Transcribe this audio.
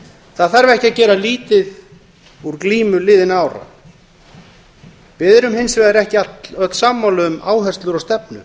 það þarf ekki að gera lítið úr glímu liðinna ára við erum hins vegar ekki öll sammála um áherslur og stefnu